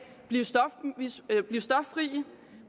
blive stoffri